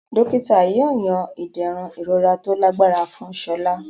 Dókítà yóò yan iderun ìrora tó lágbára fún Sola.